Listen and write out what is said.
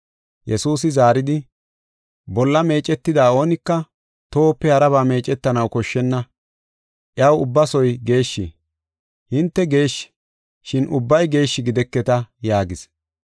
Yesuusi zaaridi, “Bolla meecetida oonika tohope haraba meecetanaw koshshenna; iyaw ubbasoy geeshshi. Hinte geeshshi, shin ubbay geeshshi gideketa” yaagis.